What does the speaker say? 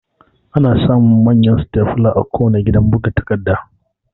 Ana samun Manyan Stepler a kuwanna gidan buga takarda